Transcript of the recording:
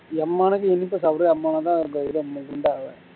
எம்மனுக்கு இனிப்ப சாப்புடு அம்மன தான் குண்டாவ